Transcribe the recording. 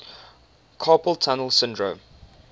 carpal tunnel syndrome